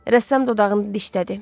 Rəssam dodağını dişlədi.